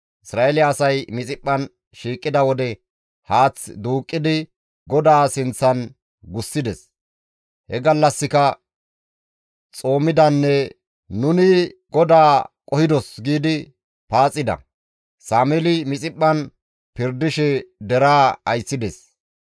Isra7eele asay Mixiphphan shiiqida wode haath duuqqidi GODAA sinththan gussides; he gallassika xoomida; «Nuni GODAA qohidos» giidi paaxida. Sameeli Mixiphphan pirdishe deraa ayssides.